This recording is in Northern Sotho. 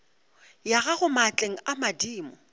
ya gago maatleng a madimo